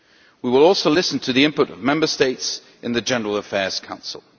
We will also listen to the input of Member States in the General Affairs Council.